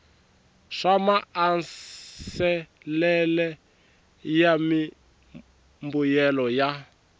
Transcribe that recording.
swa maasesele ya mimbuyelo ya